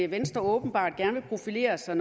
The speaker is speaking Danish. venstre åbenbart gerne vil profilere sig